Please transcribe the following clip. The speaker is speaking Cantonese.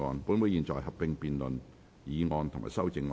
本會現在合併辯論議案及修正案。